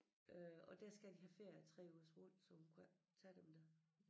Øh og der skal de have ferie i 3 ugers rul så hun kunne ikke tage dem der